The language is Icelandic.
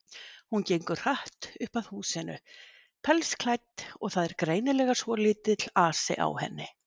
Hún gengur hratt upp að húsinu, pelsklædd, og það er greinilega svolítill asi á henni.